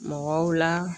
Mɔgɔw la